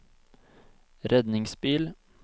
redningsbil